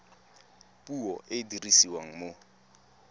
puo e e dirisiwang mo